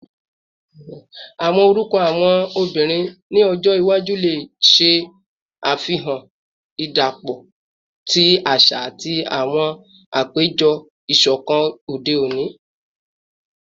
Awọn orukọ awọn obinrin ni ọjọ iwaju le ṣe afihan idapọpọ ti aṣa ati awọn apejọ isọkọ ode oni